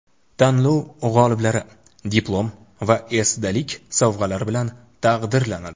Tanlov g‘oliblari diplom va esdalik sovg‘alari bilan taqdirlanadi.